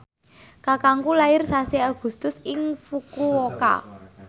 kakangku lair sasi Agustus ing Fukuoka